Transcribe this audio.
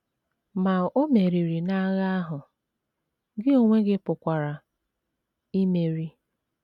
Ma o meriri n’agha ahụ, gị onwe gị pụkwara imeri!